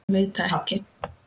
Ég veit það ekki